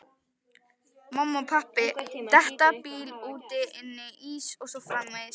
Mamma, pabbi, detta, bíll, úti, inni, ís og svo framvegis